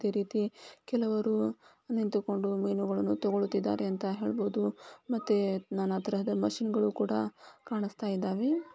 ಅದೇ ರೀತಿ ಕೆಲವರು ನಿಂತುಕೊಂಡು ಮೀನುಗಳನ್ನು ತೆಗೆದುಕ್ಕೊಳ್ಳುತ್ತಿದ್ದರೆ ಅಂತ ಹೇಳಬಹುದು ಮತ್ತೆ ನಾನಾ ತರಹದ ಮಷೀನ್ ಗಳು ಕೂಡ ಕನಿಷ್ಠ ಇದಾವೆ .